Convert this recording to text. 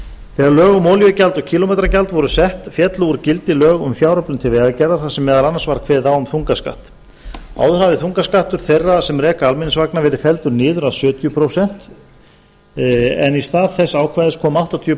þegar lög um olíugjald og kílómetragjald voru sett féllu úr gildi lög um fjáröflun til vegagerðar þar sem meðal annars var kveðið á um þungaskatt áður hafði þungaskattur þeirra sem reka almenningsvagna verið felldur niður að sjötíu prósent en í stað þess ákvæðis kom áttatíu